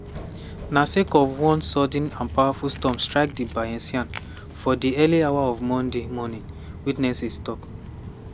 na sake of one sudden and powerful storm strike di bayesian for di early hours of monday morning witnesses tok.